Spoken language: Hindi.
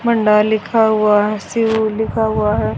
मंडा लिखा हुआ है शिव लिखा हुआ है।